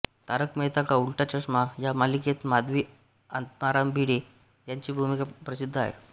तारक मेहता का उल्टा चष्मा या मालिकेत माधवी आत्माराम भीडे यांची भूमिका प्रसिद्ध आहे